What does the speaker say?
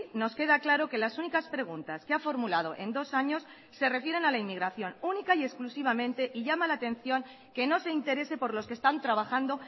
nos queda claro que las únicas preguntas que ha formulado en dos años se refieren a la inmigración única y exclusivamente y llama la atención que no se interese por los que están trabajando